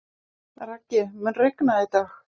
Raggi, mun rigna í dag?